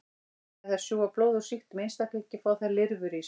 Þegar þær sjúga blóð úr sýktum einstaklingi fá þær lirfur í sig.